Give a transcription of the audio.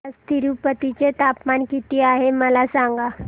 आज तिरूपती चे तापमान किती आहे मला सांगा